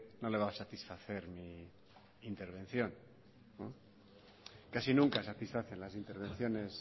no le va a satisfacer mi intervención casi nunca satisfacen las intervenciones